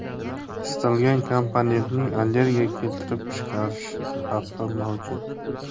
Istalgan komponentning allergiya keltirib chiqarish xavfi mavjud.